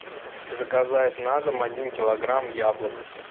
заказать на дом один килограмм яблок